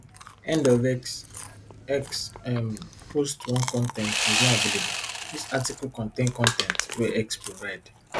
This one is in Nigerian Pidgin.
end of x x um post one con ten t is not available dis article contain con ten t wey x provide